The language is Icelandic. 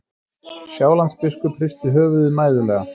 Sjálandsbiskup hristi höfuðið mæðulega.